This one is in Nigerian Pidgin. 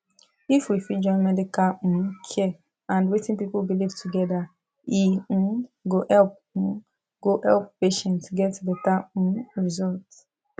if we fit join medical um care and wetin people believe together e um go help um go help patients get better um result